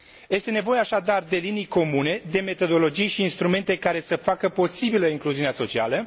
Este nevoie, așadar, de linii comune, de metodologii și instrumente care să facă posibilă incluziunea socială.